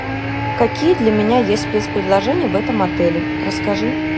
какие для меня есть спецпредложения в этом отеле расскажи